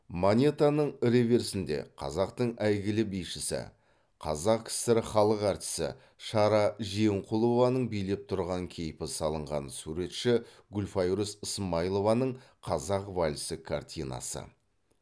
монетаның реверсінде қазақтың әйгілі бишісі қазақ кср халық әртісі шара жиенқұлованың билеп тұрған кейпі салынған суретші гүлфайрус ысмайылованың қазақ вальсі картинасы